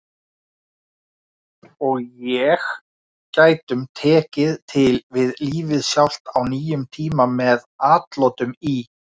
og ég gætum tekið til við Lífið Sjálft á nýjum tíma með atlotum í